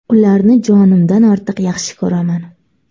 Ularni jonimdan ortiq yaxshi ko‘raman.